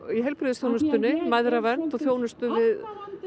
í heilbrigðisþjónustunni mæðravernd þjónustu við